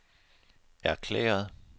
erklæret